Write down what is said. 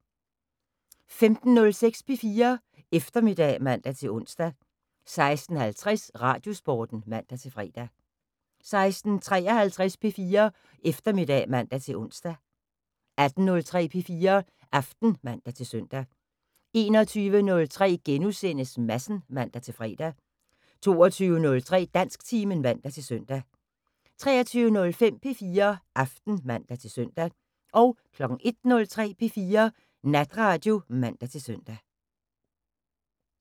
15:06: P4 Eftermiddag (man-ons) 16:50: Radiosporten (man-fre) 16:53: P4 Eftermiddag (man-ons) 18:03: P4 Aften (man-søn) 21:03: Madsen *(man-fre) 22:03: Dansktimen (man-søn) 23:05: P4 Aften (man-søn) 01:03: P4 Natradio (man-søn)